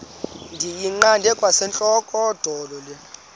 ndiyiqande kwasentlandlolo le